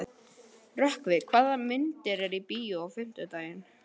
Rökkvi, hvaða myndir eru í bíó á fimmtudaginn?